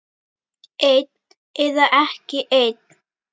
Einn eða ekki einn.